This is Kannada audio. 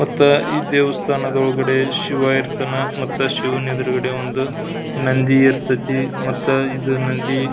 ಮತ್ತ ಈ ದೇವಸ್ಥಾನ ಒಳಗಡೆ ಶಿವ ಇರ್ತಾನ ಶಿವನ್ ಎದುರ್ಗಡೆ ಒಂದು ನಂದಿ ಇರತೈತಿ ಮತ್ತ ಇದು ನಂದಿ --